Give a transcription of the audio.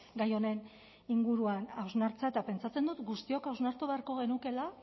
gai honen inguruan hausnartzea eta pentsatzen dut guztiok hausnartu beharko genukeela